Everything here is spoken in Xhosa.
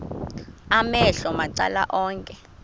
amehlo macala onke